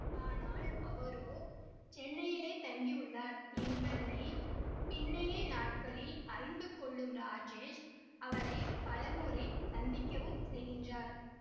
ஆனால் அவரோ சென்னையிலே தங்கியுள்ளார் என்பதனை பின்னைய நாட்களில் அறிந்து கொள்ளும் ராஜேஷ் அவரை பலமுறை சந்திக்கவும் செய்கின்றார்